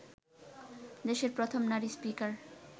দেশের প্রথম নারী স্পিকার